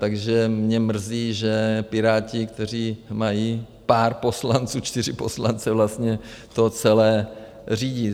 Takže mě mrzí, že Piráti, kteří mají pár poslanců, čtyři poslance, vlastně to celé řídí.